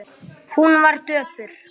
Hún var döpur.